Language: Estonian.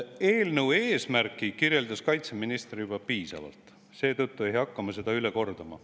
Eelnõu eesmärki kirjeldas kaitseminister juba piisavalt, seetõttu ei hakka ma seda üle kordama.